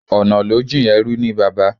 Ọ̀nà ló jìn, ẹrú ní baba